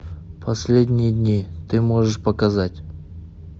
последние дни ты можешь показать